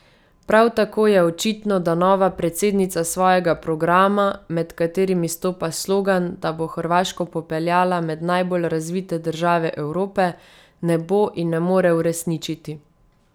Prav tako je očitno, da nova predsednica svojega programa, med katerim izstopa slogan, da bo Hrvaško popeljala med najbolj razvite države Evrope, ne bo in ne more uresničiti.